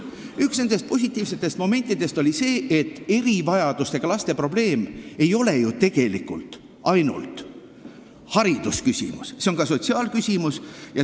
Üks nendest oli arusaam, et erivajadustega laste probleem ei ole ju tegelikult ainult haridusküsimus, see on ka sotsiaalküsimus.